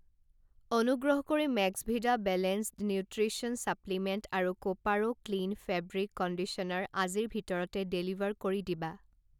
অনুগ্ৰহ কৰি Maxvida balanced nutrition supplement আৰু কোপাৰো ক্লীণ ফেব্ৰিক কণ্ডিচনাৰ আজিৰ ভিতৰতে ডেলিভাৰ কৰি দিবা।